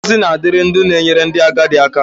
Ngọzi na-adịrị ndị na-enyere ndị agadi aka.